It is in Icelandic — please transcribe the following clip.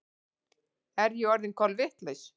Er ég orðin kolvitlaus?